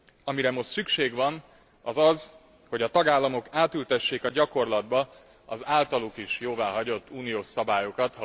Amire most szükség van az az, hogy a tagállamok átültessék a gyakorlatba az általuk is jóváhagyott uniós szabályokat.